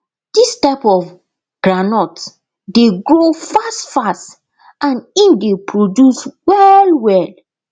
dis type of groundnut dey grow fastfast and im dey produce well well